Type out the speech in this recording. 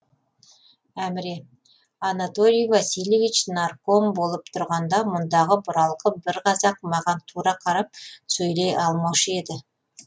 әміре анатолий васильевич нарком болып тұрғанда мұндағы бұралқы бір қазақ маған тура қарап сөйлей алмаушы еді